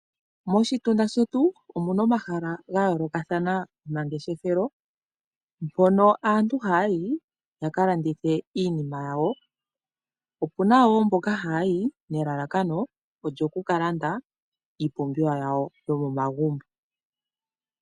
Moshitunda shetu omuna omahala gayoolokathana gomangeshefelo, mbono aantu haya yi yakalandithe iinima yawo. Opuna wo mboka haya yi nelalakano lyokukalanda iipumbiwa yawo yomomagumbo.